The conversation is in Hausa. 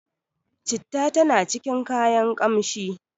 citta tana cikin kayan kanshi